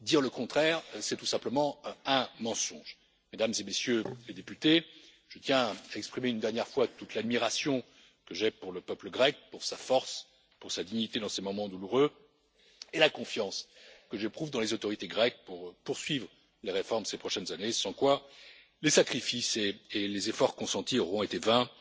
Dire le contraire, c'est tout simplement un mensonge. Mesdames et Messieurs les députés, je tiens à exprimer une dernière fois toute l'admiration que j'ai pour le peuple grec, pour sa force, pour sa dignité dans ces moments douloureux et la confiance que j'éprouve dans les autorités grecques pour poursuivre les réformes ces prochaines années, sans quoi les sacrifices et les efforts consentis auront été vains.